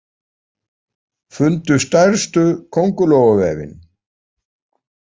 Fundu stærstu köngulóarvefinn